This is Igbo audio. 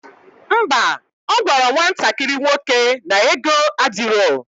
Ḿbà, ogwara nwatakiri nwoke na ego adiro